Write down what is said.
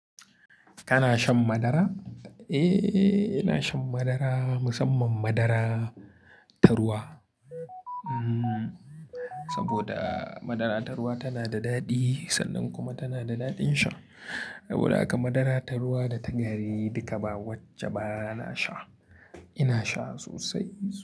Kana shan madara? Eh, ina shan madara musamman madara tarwa. Saboda madara ta ruwa tana da daɗi sannan kuma tana da daɗin sha. Saboda haka madara ta ruwa da ta gari duka ba wacce ba na sha. Ina sha sosai.